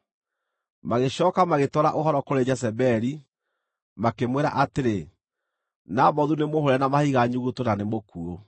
Magĩcooka magĩtwara ũhoro kũrĩ Jezebeli, makĩmwĩra atĩrĩ, “Nabothu nĩmũhũũre na mahiga nyuguto na nĩ mũkuũ.”